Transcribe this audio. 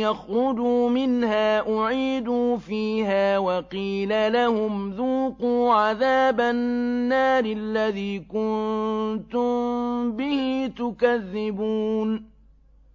يَخْرُجُوا مِنْهَا أُعِيدُوا فِيهَا وَقِيلَ لَهُمْ ذُوقُوا عَذَابَ النَّارِ الَّذِي كُنتُم بِهِ تُكَذِّبُونَ